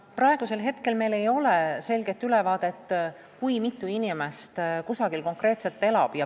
Praegusel hetkel meil ei ole selget ülevaadet, kui mitu Eesti inimest Valgevenes konkreetselt elab.